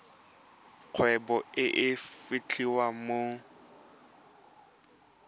kgwebo e e fitlhelwang mo